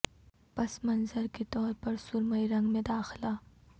پس منظر کے طور پر سرمئی رنگ میں داخلہ